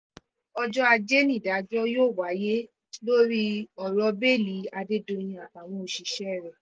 ọjọ́ ajé nídàájọ́ yóò wáyé lórí ọ̀rọ̀ bẹ́ẹ́lí adédọ̀yìn àtàwọn òṣìṣẹ́ rẹ̀